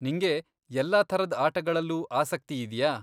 ನಿಂಗೆ ಎಲ್ಲ ಥರದ್ ಆಟಗಳಲ್ಲೂ ಆಸಕ್ತಿ ಇದ್ಯಾ?